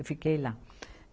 Eu fiquei lá.